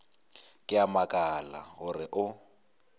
ke a makala gore o